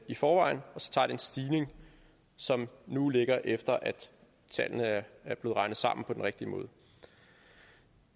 i forvejen og så tager den stigning som nu ligger efter at tallene er er blevet regnet sammen på den rigtige måde